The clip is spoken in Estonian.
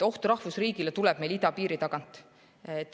Oht rahvusriigile tuleb meil idapiiri tagant.